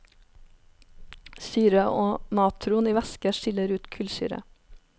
Syre og natron i væske skiller ut kullsyre.